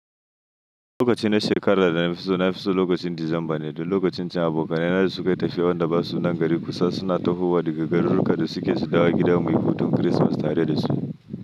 Lokacin shekarar da na fi so na fi so lokacin Disamba ne, da lokacin cin abokanai na da suka tafi wanda ba su nan gari kusa suna tahowa da gagarruka da suke zuba gida mai hutun Kirsimeti tare da su.